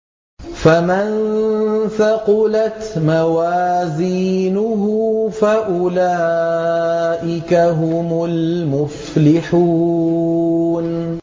فَمَن ثَقُلَتْ مَوَازِينُهُ فَأُولَٰئِكَ هُمُ الْمُفْلِحُونَ